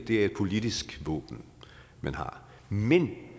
er et politisk våben man har men